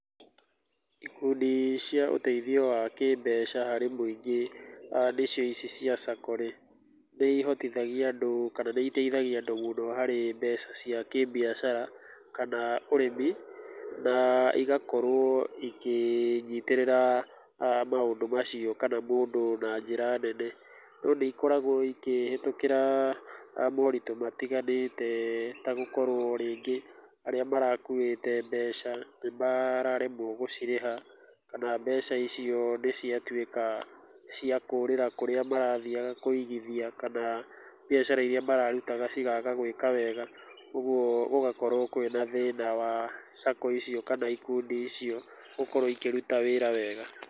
Ikundi cia ũteithio wa kĩ mbeca hari mũingĩ nĩcio ici cia SACCO rĩ, nĩihotithagia andũ, kana nĩiteithagia andũ mũno harĩ mbeca cia kĩ mbiacara, kana ũrĩmi, na igakorwo, igĩnyitĩrĩra maũndũ macio, kana mũndũ na njĩra nene, no nĩikoragwo ikĩhetũkĩra moritũ matiganĩte, ta gũkorwo rĩngĩ, arĩa marakuĩte, mbeca nĩmararemwo nĩgũcirĩha kana mbeca icio nĩciatwĩka ciakũrĩra kũrĩa marathiaga kũigithia kana mbiacara iria mararutaga cikaga gũka wega, ũguo gũgakorwo kwĩna thĩna wa SACCO icio kana ikundi icio gũkorwo ikĩruta wĩra wega.